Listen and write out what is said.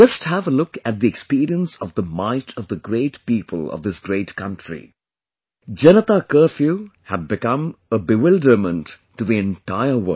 Just have a look at the experience of the might of the great Praja, people of this great country...Janata Curfew had become a bewilderment to the entire world